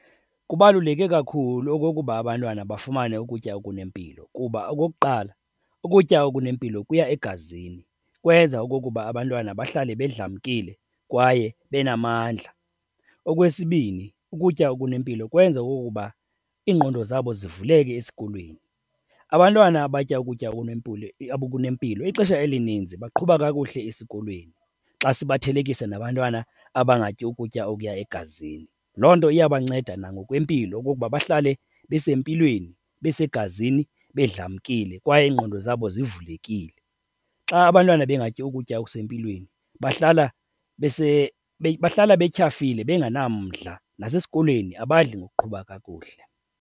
Kubaluleke kakhulu okokuba abantwana bafumane ukutya okunempilo. Kuba okokuqala, ukutya okunempilo kuya egazini, kwenza okokuba abantwana bahlale bedlamkile kwaye benamandla. Okwesibini, ukutya okunempilo kwenza okokuba iingqondo zabo zivuleke esikolweni. Abantwana abatya ukutya okunempilo ixesha elininzi baqhuba kakuhle esikolweni xa sibathelekisa nabantwana abangatyi ukutya okuya egazini. Loo nto iyabanceda nangokwempilo okokuba bahlale besempilweni, besegazini, bedlamkile kwaye iingqondo zabo zivulekile. Xa abantwana bengatyi ukutya okusempilweni bahlala , bahlale betyhafile bengenamandla, nasesikolweni abadli ngokuqhuba kakuhle.